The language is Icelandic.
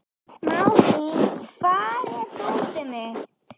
Malín, hvar er dótið mitt?